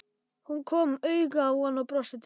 Hún kom auga á hann og brosti til hans.